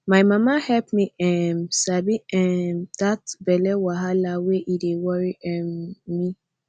my mama help me um sabi um that belly wahala when e dey worry um me